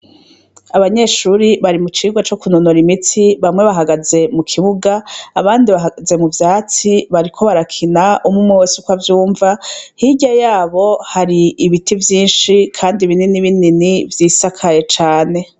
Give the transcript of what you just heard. Abanyeshuri bari mu cigwa co ku nonora imitsi bamwe bahagaze mu kibuga abandi bahagaze mu vyatsi bariko barakina umw'umwe wese uko avyumva, hirya yabo hari ibiti vyinshi, kandi binini binini vyisakaye cane.